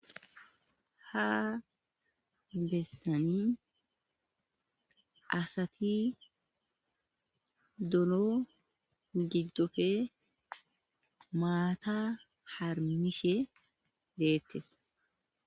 ha bessani asati dono giddofe maata harmishe deettes